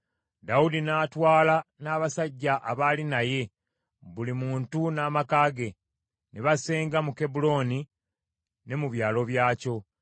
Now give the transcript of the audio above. Dawudi n’atwala n’abasajja abaali naye, buli muntu n’amaka ge, ne basenga mu Kebbulooni ne mu byalo byakyo.